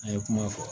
An ye kuma fɔ